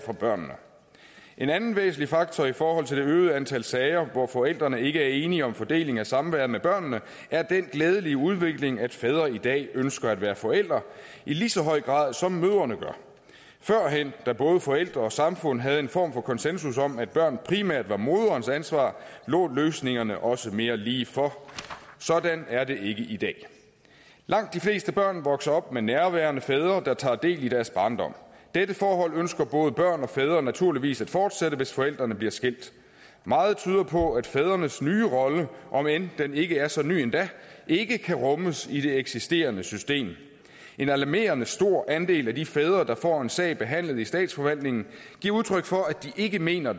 børnene en anden væsentlig faktor i forhold til det øgede antal sager hvor forældrene ikke er enige om fordelingen af samværet med børnene er den glædelige udvikling at fædre i dag ønsker at være forældre i lige så høj grad som mødrene gør førhen da både forældre og samfund havde en form for konsensus om at børn primært var moderens ansvar lå løsningerne også mere lige for sådan er det ikke i dag langt de fleste børn vokser op med nærværende fædre der tager del i deres barndom dette forhold ønsker både børn og fædre naturligvis at fortsætte hvis forældrene bliver skilt meget tyder på at fædrenes nye rolle om end den ikke er så ny endda ikke kan rummes i det eksisterende system en alarmerende stor andel af de fædre der får en sag behandlet i statsforvaltningen giver udtryk for at de ikke mener